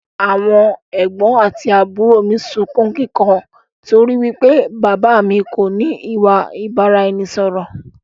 Àwọn ẹ̀gbọ̀n àti àbúrò mi sunkún kíkan torí wípé bàbà á mi kò ní ìwà ìbáraẹnisọọ̀rọ̀